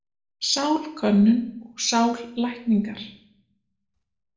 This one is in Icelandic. Sálkönnun og sállækningar.